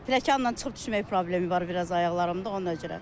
Tələkanla çıxıb düşmək problemi var biraz ayaqlarımda, ona görə.